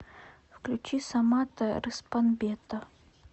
включи самата рыспанбета